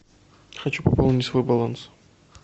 хочу пополнить свой баланс